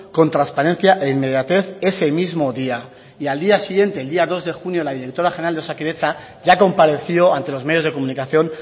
con transparencia e inmediatez ese mismo día y al día siguiente el día dos de junio la directora general de osakidetza ya compareció ante los medios de comunicación